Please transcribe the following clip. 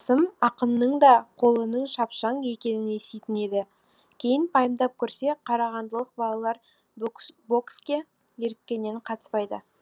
қасым ақынның да қолының шапшаң екенін еститін еді кейін пайымдап көрсе қарағандылық балалар бокске еріккеннен қатыспайды